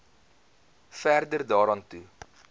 verder daaraan toe